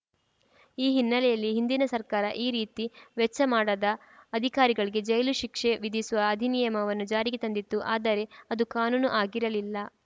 ಈ ಹಿನ್ನೆಲೆಯಲ್ಲಿ ಹಿಂದಿನ ಸರ್ಕಾರ ಈ ರೀತಿ ವೆಚ್ಚ ಮಾಡದ ಅಧಿಕಾರಿಗಳಿಗೆ ಜೈಲು ಶಿಕ್ಷೆ ವಿಧಿಸುವ ಅಧಿನಿಯಮವನ್ನು ಜಾರಿಗೆ ತಂದಿತ್ತು ಆದರೆ ಅದು ಕಾನೂನು ಆಗಿರಲಿಲ್ಲ